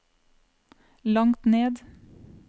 langt ned